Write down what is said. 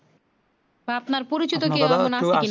আপনার পরিচিত